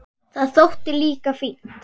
Það þótti líka fínt.